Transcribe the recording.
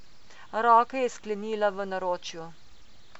Roke je sklenila v naročju.